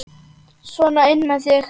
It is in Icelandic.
Sona inn með þig!